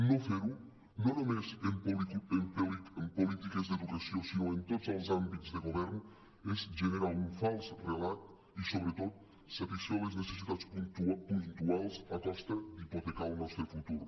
no fer ho no només en polítiques d’educació sinó en tots els àmbits de govern és generar un fals relat i sobretot satisfer les necessitats puntuals a costa d’hipotecar el nostre futur